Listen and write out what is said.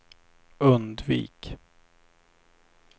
undvik